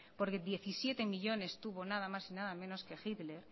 porque diecisiete millónes tuvo nada más y nada menos de hitler